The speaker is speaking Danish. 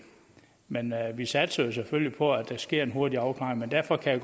men vi satser selvfølgelig på at der sker en hurtig afklaring men derfor kan